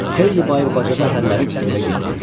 Xeyli bayır bacada hərlənib evə getmədim.